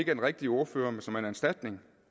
den rigtige ordfører men som er en erstatning